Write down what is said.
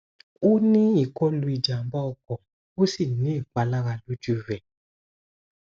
o ni ikolu ijamba oko o si ni ipalara loju rẹ